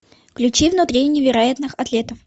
включи внутри невероятных атлетов